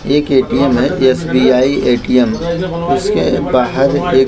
एक एटीएम है SBI ATM उसके बाहर एक --